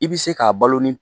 I bi se k'a balo ni